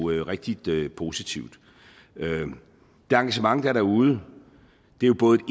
er rigtig positivt det engagement der er derude er jo både et